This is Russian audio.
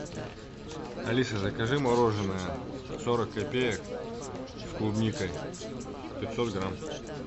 алиса закажи мороженое сорок копеек с клубникой пятьсот грамм